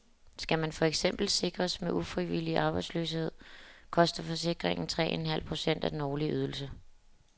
Skal man for eksempel sikres mod ufrivillig arbejdsløshed, koster forsikringen tre en halv procent af den årlige ydelse.